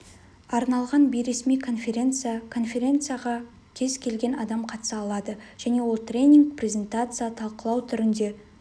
арналған бейресми конференция конференцияға кез келген адам қатыса алады және ол тренинг презентация талқылау түрінде